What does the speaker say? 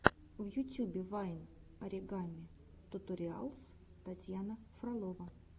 в ютюбе вайн оригами туториалс татьяна фролова